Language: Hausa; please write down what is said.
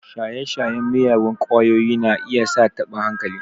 Shaye-shayen miyagun ƙwayoyi na iya sa taɓin hankali.